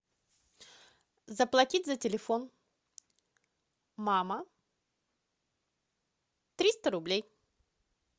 заплатить за телефон мама триста рублей